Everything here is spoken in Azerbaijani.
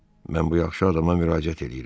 Mən bu yaxşı adama müraciət eləyirəm.